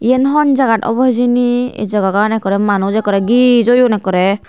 yen honjagat obow he jani ey jagagan ekorey manus ekorey giss oyon ekorey.